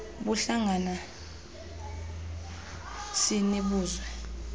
buhlanga sini buzwe